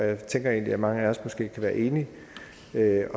jeg tænker egentlig at mange af os kan være enige